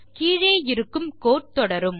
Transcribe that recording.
கீழே இருக்கும் கோடு தொடரும்